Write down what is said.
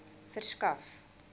verskaf